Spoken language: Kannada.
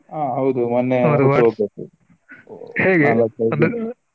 ಹ ಹೌದು .